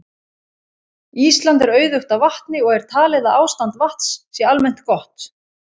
Ísland er auðugt af vatni og er talið að ástand vatns sé almennt gott.